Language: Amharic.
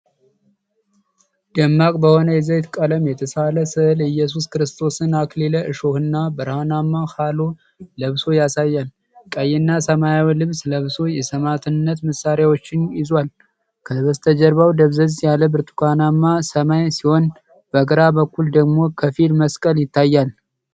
ደማቅ በሆነ የዘይት ቀለም የተሳለ ሥዕል ኢየሱስ ክርስቶስን አክሊለ-እሾህና ብርሃናማ ሃሎ ለብሶ ያሳያል። ቀይና ሰማያዊ ልብስ ለብሶ፣ የሰማዕትነት መሣሪያዎችን ይዟል። ከበስተጀርባው ደብዘዝ ያለ ብርቱካናማ ሰማይ ሲሆን በግራ በኩል ደግሞ ከፊል መስቀል ይታያል።